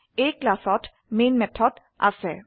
এই class main method আছে